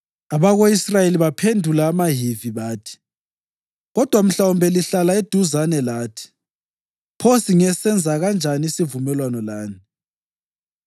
Abako-Israyeli baphendula amaHivi bathi, “Kodwa mhlawumbe lihlala eduzane lathi, pho singasenza kanjani isivumelwano lani?”